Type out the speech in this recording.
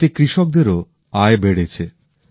এতে কৃষকদেরও আয় বেড়েছে